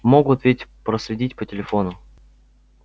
могут ведь проследить по телефону